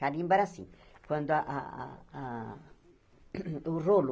Carimbo era assim, quando a a a o rolo